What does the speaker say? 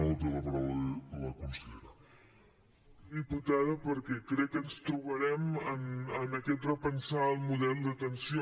molt bé diputada perquè crec que ens trobarem en aquest repensar el model d’atenció